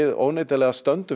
óneitanlega stöndum